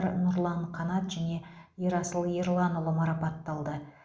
қанат және ерасыл ерланұлы марапатталды